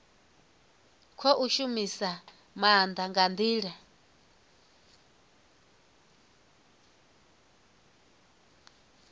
khou shumisa maanda nga ndila